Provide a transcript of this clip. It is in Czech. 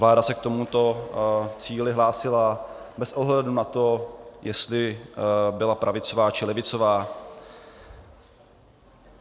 Vláda se k tomuto cíli hlásila bez ohledu na to, jestli byla pravicová, či levicová.